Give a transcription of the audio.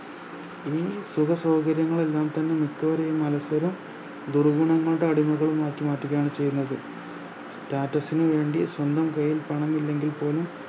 ഈ സുഖ സൗകര്യമുങ്ങളെല്ലാം തന്നെ മിക്കവരെയും അലസ്സരും ദുർഗുണങ്ങളുടെ അടിമകളുംമാക്കി മാറ്റുകയാണ് ചെയ്യുന്നത് Status ന് വേണ്ടി സ്വന്തം കൈയിൽ പണം ഇല്ലെങ്കിൽ പോലും